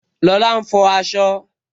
Lola ń fọ asọ